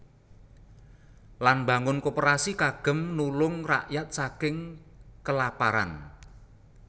Lan mbangun Koperasi kagem nulung rakyat saking kelaparan